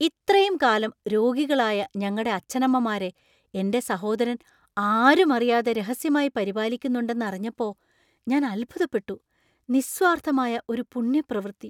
ഇത്രയും കാലം രോഗികളായ ഞങ്ങടെ അച്ഛനമ്മമാരെ എന്‍റെ സഹോദരൻ ആരും അറിയാതെ രഹസ്യമായി പരിപാലിക്കുന്നുണ്ടെന്ന് അറിഞ്ഞപ്പോ ഞാൻ അത്ഭുതപ്പെട്ടു. നിസ്വാർത്ഥമായ ഒരു പുണ്യപ്രവൃത്തി.